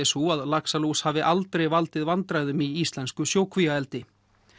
sú að laxalús hafi aldrei valdið vandræðum í íslensku sjókvíaeldi